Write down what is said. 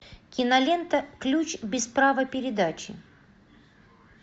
кинолента ключ без права передачи